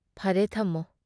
ꯐꯔꯦ ꯊꯝꯃꯣ ꯫"